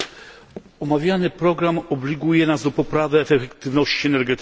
Omawiany program obliguje nas do poprawy efektywności energetycznej.